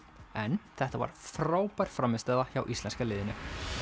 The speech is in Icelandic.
en þetta var frábær frammistaða hjá íslenska liðinu